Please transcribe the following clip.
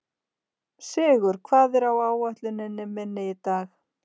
Sigur, hvað er á áætluninni minni í dag?